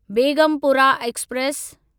Begumpura express